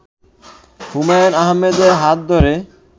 হুমায়ূন আহমেদের হাত ধরে